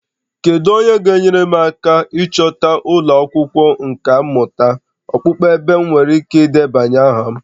Kedu onye ga-enyere m aka ịchọta ụlọ akwụkwọ nkà mmụta okpukpe ebe m nwere ike ịdebanye aha?